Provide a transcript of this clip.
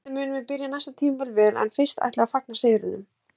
Vonandi munum við byrja næsta tímabil vel en fyrst ætlum við að fagna sigrinum